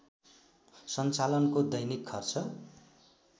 सञ्चालनको दैनिक खर्च